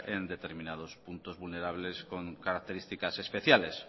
en determinados puntos vulnerables con características especiales